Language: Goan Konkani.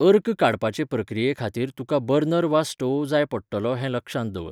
अर्क काडपाचे प्रक्रिये खातीर तुका बर्नर वा स्टोव जाय पडटलो हें लक्षांत दवर.